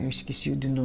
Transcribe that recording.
Eu esqueci do nome